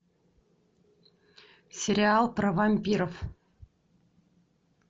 сериал про вампиров